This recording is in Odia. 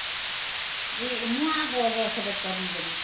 ଏ ନୂଆ ବର୍ଷ ରେ କରିବା